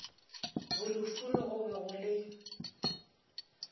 bolufuno go be go le